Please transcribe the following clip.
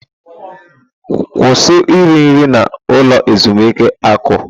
Kwụsị iri nri na ulo ezimuike akụ!